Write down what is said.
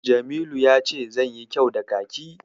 Musa ya ce zanyo kyau da Kaki.